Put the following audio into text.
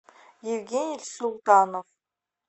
евгений султанов